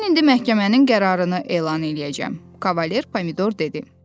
Mən indi məhkəmənin qərarını elan eləyəcəm, Kavalyer Pomidor dedi.